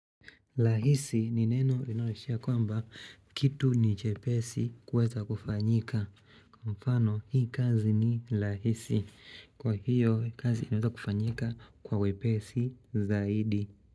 Rahisi ni neno inayoishia kwamba kitu ni chepesi kuweza kufanyika. Kwa mfano hii kazi ni lahisi. Kwa hiyo kazi inawekufanyika kwa wepesi zaidi.